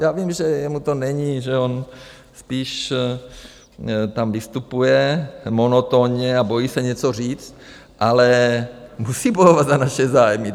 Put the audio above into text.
Já vím, že jemu to není, že on spíš tam vystupuje monotónně a bojí se něco říct, ale musí bojovat za naše zájmy.